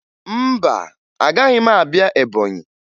Mba, agaghị m abịa Ebọnyị